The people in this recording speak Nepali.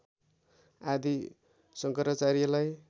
आदि शङ्कराचार्यलाई